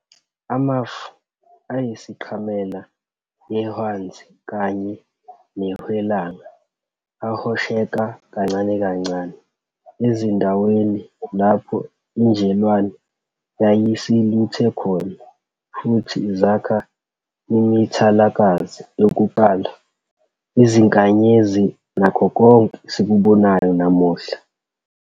Amafu ayisiqhamela ehwanzi kanye nehwelanga ahosheka kancane kancane ezindaweni lapho injelwane yayisiluthe khona, futhi zakha imithalakazi yokuqala, izinkanyezi nakho konke esikubonayo namuhla.